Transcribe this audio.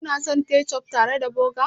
Kuna son kechof tare da burger ku?